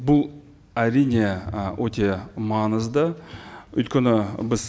бұл әрине ы өте маңызды өйткені біз